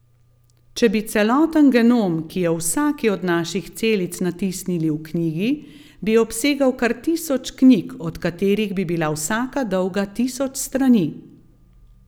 Če bi celoten genom, ki je v vsaki od naših celic, natisnili v knjigi, bi obsegal kar tisoč knjig, od katerih bi bila vsaka dolga tisoč strani!